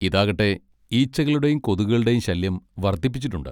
ഇതാകട്ടെ ഈച്ചകളുടെയും കൊതുകുകളുടെയും ശല്യം വർധിപ്പിച്ചിട്ടുണ്ട്.